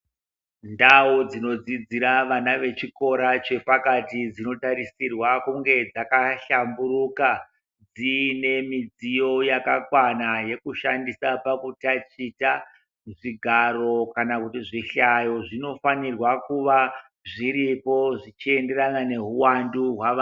Ndau dzinodzidzira vana vechikora chepakati dzinotarisirwa kunge dzakahlamburuka dziine midziyo yakakwana yekushandisa pakutachita zvigaro kana kuti zvihlayo zvinofanirwa kuvazviripo zvichienderana neuwandu hwawo.